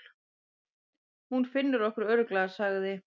Hún finnur okkur örugglega, sagði